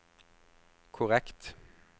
korrekt